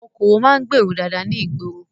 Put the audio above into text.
Àwọn okòwò máa ń gbèèrú dáadáa ní ìgboro.